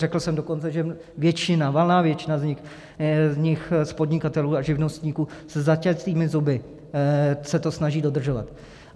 Řekl jsem dokonce, že většina, valná většina z nich, podnikatelů a živnostníků, se zaťatými zuby se to snaží dodržovat.